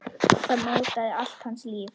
Þetta mótaði allt hans líf.